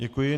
Děkuji.